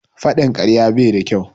Faɗin karya bai da kyau.